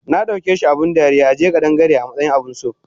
Nadaukeshi abun dariya ajiye ƙadan-Gare amatsayin abunso